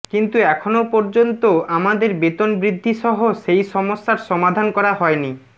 কিন্তু এখনও পর্যন্ত আমাদের বেতন বৃদ্ধিসহ সেই সমস্যার সমাধান করা হয়নি